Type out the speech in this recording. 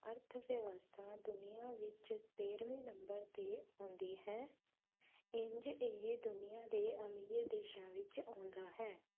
ਅਰਥ-ਵਿਵਸਥਾ ਦੁਨੀਆ ਵਿੱਚ ਤੇਹਰਵੇ ਨੰਬਰ ਤੇ ਆਉਂਦੀ ਹੈ ਇੰਜ ਇਹ ਦੁਨੀਆ ਦੇ ਅਮੀਰ ਦੇਸ਼ਾਂ ਵਿੱਚ ਆਉਂਦਾ ਹੈ।